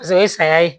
Paseke o ye saya ye